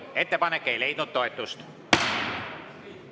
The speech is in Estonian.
Ettepanek ei leidnud toetust.